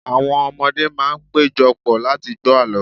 awọn ọmọdé ma n pejọ pọ̀ láti gbọ àlọ